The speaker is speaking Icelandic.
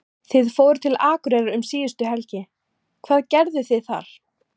Þið fóruð til Akureyrar um síðustu helgi, hvað gerðuð þið þar?